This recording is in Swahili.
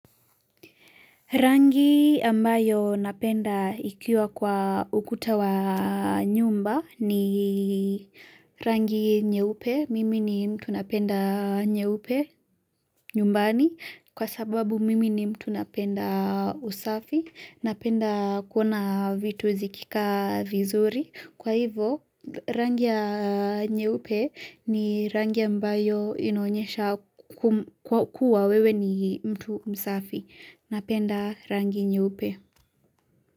Rangi ambayo napenda ikiwa kwa ukuta wa nyumba ni rangi nyeupe, mimi ni mtu napenda nyeupe nyumbani kwa sababu mimi ni mtu napenda usafi, napenda kuona vitu zikika vizuri. Kwa hivyo rangi ya nyeupe ni rangi ambayo inaonyesha kua wewe ni mtu msafi. Napenda rangi nye upe.